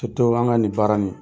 Toto an ŋa nin baara nin.